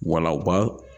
Wala u b'a